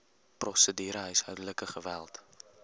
prosedure huishoudelike geweld